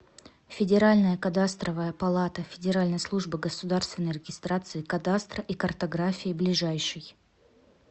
федеральная кадастровая палата федеральной службы государственной регистрации кадастра и картографии ближайший